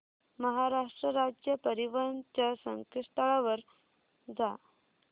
महाराष्ट्र राज्य परिवहन च्या संकेतस्थळावर जा